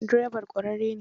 Direban ƙwararre ne?